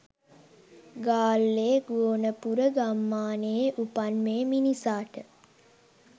ගාල්ලේ ගෝනපුර ගම්මානයේ උපන් මේ මිනිසාට